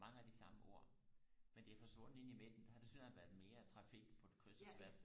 mange af de samme ord men det er forsvundet inde i midten der har der tilsyneladende været mere trafik på kryds og tværs